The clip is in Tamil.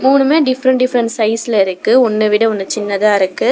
மூணுமே டிஃபரண்ட் டிஃபரண்ட் சைஸ்ல இருக்கு ஒன்ன விட ஒன்னு சின்னதா இருக்கு.